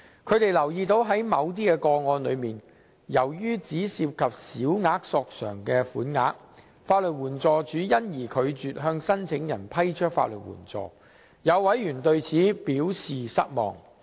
他們留意到在某些個案中，由於只涉及小額申索款額，法律援助署因而拒絕向申請人批出法律援助，有委員對此表示失望。